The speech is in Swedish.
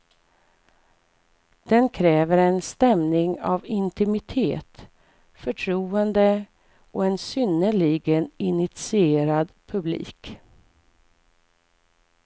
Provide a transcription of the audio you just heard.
Den kräver en stämning av intimitet, förtroende och en synnerligen initierad publik.